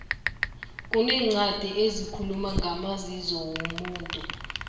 kuneencwadi ezikhuluma ngamazizo womuntu